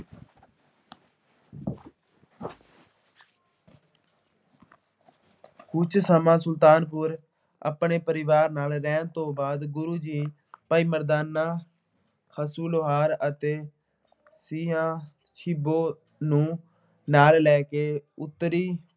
ਕੁੱਝ ਸਮਾਂ ਸੁਲਤਾਨਪੁਰ ਆਪਣੇ ਪਰਿਵਾਰ ਨਾਲ ਰਹਿਣ ਤੋਂ ਬਾਅਦ ਗੁਰੂ ਜੀ ਭਾਈ ਮਰਦਾਨਾ ਅੱਸੂ ਲੁਹਾਰ ਅਤੇ ਤੀਹਾ ਛਿਬੋ ਨੂੰ ਨਾਲ ਲੈ ਕੇ ਉੱਤਰੀ